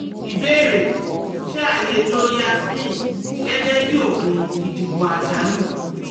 Ìbéèrè: Ṣé a lè lo Yasmin gẹ́gẹ́ bí oògùn ìdìbò àjálù?